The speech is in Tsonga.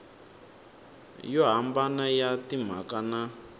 yo hambana ya timhaka na